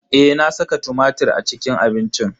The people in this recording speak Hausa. Eh, na saka tumatir a cikin abincin.